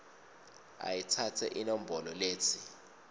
ayitsatse inombolo letsi